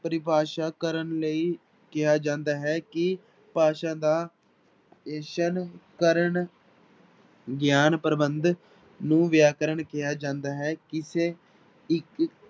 ਪਰਿਭਾਸ਼ਾ ਕਰਨ ਲਈ ਕਿਹਾ ਜਾਂਦਾ ਹੈ ਕਿ ਭਾਸ਼ਾ ਦਾ ਕਰਨ ਗਿਆਨ ਪ੍ਰਬੰਧ ਨੂੰ ਵਿਆਕਰਨ ਕਿਹਾ ਜਾਂਦਾ ਹੈ, ਕਿਸੇ ਇੱਕ